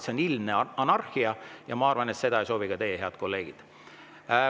See on ilmne anarhia ja ma arvan, et seda ei soovi ka teie, head kolleegid.